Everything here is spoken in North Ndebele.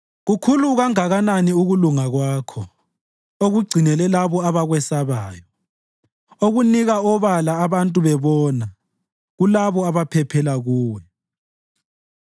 Kukhulu kangakanani ukulunga Kwakho okugcinele labo abakwesabayo, okunika obala abantu bebona kulabo abaphephela Kuwe.